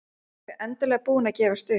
Þau endanlega búin að gefast upp.